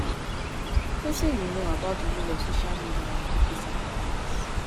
wetin you know about di role of social media in advocacy and awareness?